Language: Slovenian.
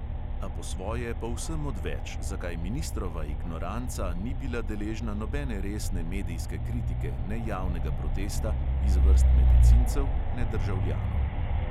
A po svoje povsem odveč, zakaj ministrova ignoranca ni bila deležna nobene resne medijske kritike ne javnega protesta iz vrst medicincev ne državljanov.